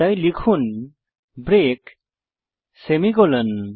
তাই লিখুন break semicolon